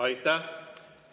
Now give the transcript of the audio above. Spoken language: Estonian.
Aitäh!